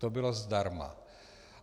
To bylo zdarma.